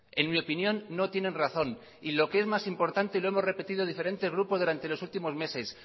en mi opinión no tienen razón y lo que es más importante y lo hemos repetido diferentes grupos durante los últimos meses